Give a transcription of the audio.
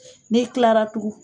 Ne kilara tugu